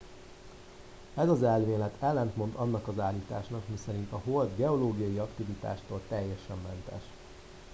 ez az elmélet ellentmond annak az állításnak miszerint a hold geológiai aktivitástól teljesen mentes